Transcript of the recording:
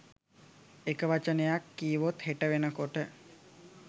එක වචනයක් කීවොත් හෙට වෙන කොට